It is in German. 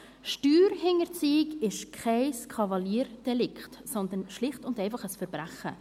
Steuerhinterziehung ist kein Kavaliersdelikt, sondern schlicht und einfach ein Verbrechen.